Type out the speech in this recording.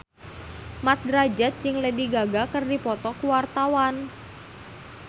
Mat Drajat jeung Lady Gaga keur dipoto ku wartawan